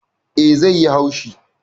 Eh. zai yi haushi